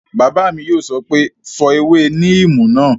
Bàbá mi yóò sọ pé "fọ ewé níìmù náà!"